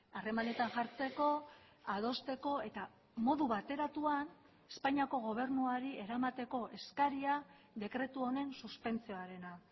harremanetan jartzeko adosteko eta modu bateratuan espainiako gobernuari eramateko eskaria dekretu honen suspentsioarena